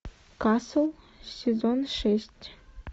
касл сезон шесть